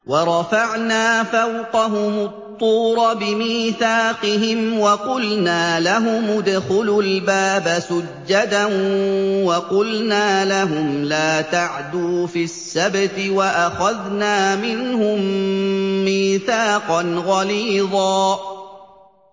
وَرَفَعْنَا فَوْقَهُمُ الطُّورَ بِمِيثَاقِهِمْ وَقُلْنَا لَهُمُ ادْخُلُوا الْبَابَ سُجَّدًا وَقُلْنَا لَهُمْ لَا تَعْدُوا فِي السَّبْتِ وَأَخَذْنَا مِنْهُم مِّيثَاقًا غَلِيظًا